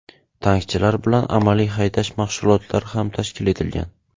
Tankchilar bilan amaliy haydash mashg‘ulotlari ham tashkil etilgan.